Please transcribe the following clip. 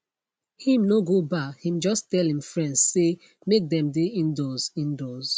him no go bar him just tell him friends say make them dey indoors indoors